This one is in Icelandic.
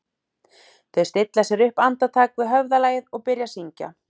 Þau stilla sér upp andartak við höfðalagið og byrja að syngja